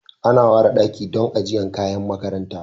Ana ware daki don ajiyar kayan makaranta